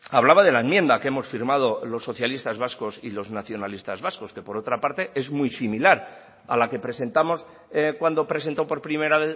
hablaba de la enmienda que hemos firmado los socialistas vascos y los nacionalistas vascos que por otra parte es muy similar a la que presentamos cuando presentó por primera